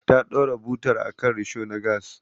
Ta ɗora butar akan risho na gas.